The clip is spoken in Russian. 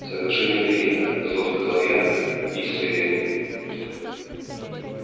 соглашение принято зло сказал я и сове